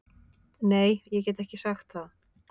Nei, get ekki sagt það